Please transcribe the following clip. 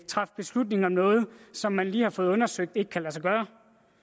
træffe beslutning om noget som vi lige har fået undersøgt ikke kan lade sig gøre